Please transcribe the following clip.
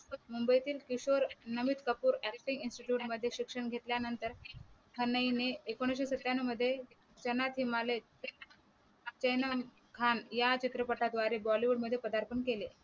मुंबईतील Kishore Namit Kapoor Aacting Institute मध्ये शिक्षण घेतल्या नंतर खन्ना हिने एकोणविशे सत्यांनो मध्ये त्यांना सिंहालय त्यांना खान या चित्रपटाद्वारे Bollywood मध्ये पदार्पण केले.